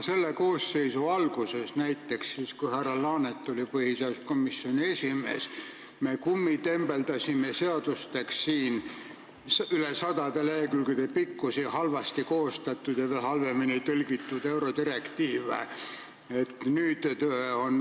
Selle koosseisu alguses, siis kui härra Laanet oli põhiseaduskomisjoni esimees, me kummitembeldasime seadusteks rohkem kui saja lehekülje pikkusi halvasti koostatud ja veel halvemini tõlgitud eurodirektiive.